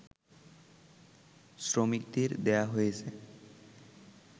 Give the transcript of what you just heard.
শ্রমিকদের দেয়া হয়েছে